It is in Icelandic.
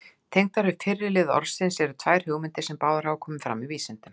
Tengdar við fyrri lið orðsins eru tvær hugmyndir, sem báðar hafa komið fram í vísindunum.